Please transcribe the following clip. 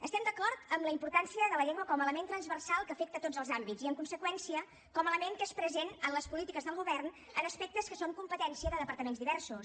estem d’acord en la importància de la llengua com a element transversal que afecta tots els àmbits i en conseqüència com a element que és present en les polítiques del govern en aspectes que són competència de departaments diversos